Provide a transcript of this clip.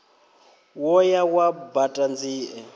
wo ya wa baṱa nzie